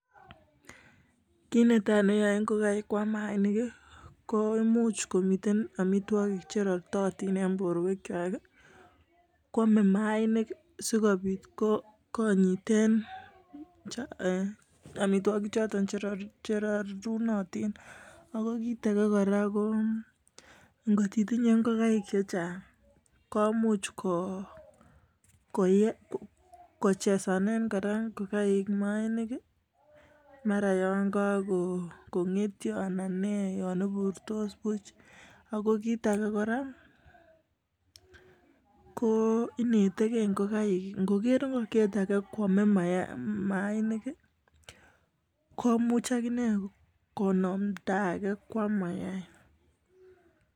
ki netai ne yaei ngokenik kwam mayainik ko much komi amitwogik che rartai eng borwek kwak kwamei mayainik si kobit konyitei amitwogik choto che rortai ako kit age ko ngotitinyei ngokaik chechang ko much kochesane mayainik nyagakongetcha koburtos. kit age konetegei ngokaik. ngoker ngokyet age kwamei mayaik konamdai age kwam